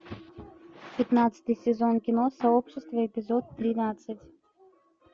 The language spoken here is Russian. пятнадцатый сезон кино сообщество эпизод тринадцать